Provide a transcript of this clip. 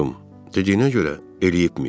Dediyinə görə, eləyibmiş.